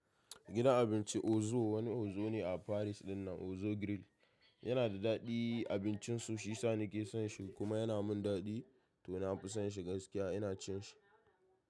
Gidan abinci Ozo wani Ozo ne a Paris dinnan Ozo Grill yana da daɗi abincin su, shi sa ni ke son shi kuma yana min daɗi to na fi son shi gaskiya ina cin shi.